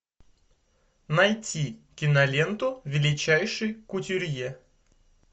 найти киноленту величайший кутюрье